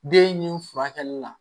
Den ni furakɛli la